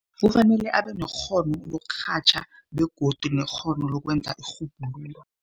Kufanele abe nekghono lokurhatjha begodu nekghono lokwenza irhubhululo.